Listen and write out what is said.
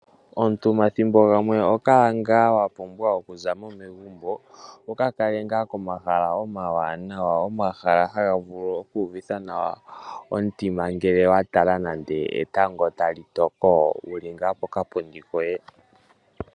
Omuntu omathimbo gamwe oho kala ngaa wapumbwa okuzamo megumbo wuka kale ngaa komahala omawanawa. Omahala haga vulu oku uvitha nawa omutima ngele wa tala nande etango tali toko wuli ngaa pokapundi koye.